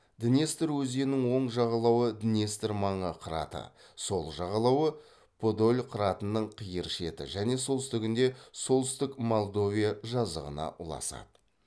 днестр өзенінің оң жағалауы днестр маңы қыраты сол жағалауы подоль қыратының қиыр шеті және солтүстігінде солтүстік молдовия жазығына ұласады